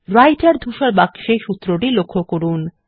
রাইটের ধূসর বাক্সে সূত্রটি লক্ষ্য করুন